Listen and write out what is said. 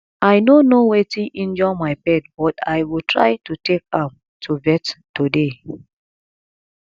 i no know wetin injure my pet but i go try to take am to vet today